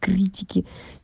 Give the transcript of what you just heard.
критики